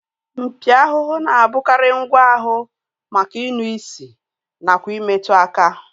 Mpi ahụhụ na-abụkarị ngwa ahụ maka inụ isi nakwa imetụ aka